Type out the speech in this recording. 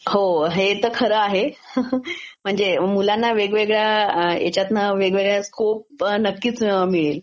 ह हे तर खरं आहे laugh म्हणजे मुलांना वेगवेगळ्या ह्याच्यातन स्कोप नक्कीच मिळेल.